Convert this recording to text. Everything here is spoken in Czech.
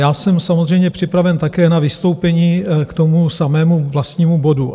Já jsem samozřejmě připraven také na vystoupení k tomu samému vlastnímu bodu.